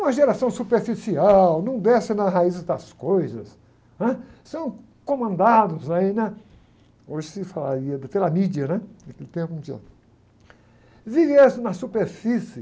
uma geração superficial, não desce nas raízes das coisas, né? São comandados, aí, né? Hoje se falaria pela mídia, né? O que aconteceu? na superfície.